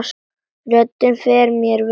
Röddin fer mér vel núna.